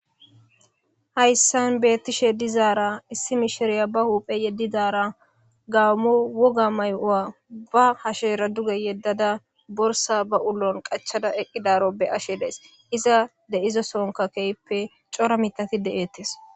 hayssan beetashshe dizaara issi misheriya ba huuphphe yedidara gammo wogga may'uwa ba hashsheera duge yeddada borssa ba uluwan qachchada eqqidaro be'ashshe de'ays iza de'izo soonkka ke'hippe cora miitatti de'eettes